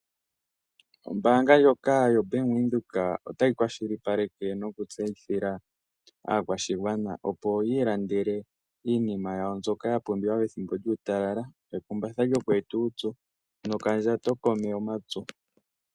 Ombaanga ndjoka yoBank Windhoek otayi kwashilipaleke nokutseyithila aakwashigwana, opo yi ilandele iinima yawo mbyoka ya pumbiwa pethimbo lyuutalala ngaashi ekumbatha lyokueta uupyu nokandjato komeya omapyu.